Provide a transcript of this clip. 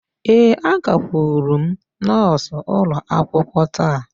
Ee, agakwuru m nọọsụ ụlọ akwụkwọ taa